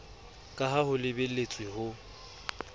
ka ha ho lebeletswe ho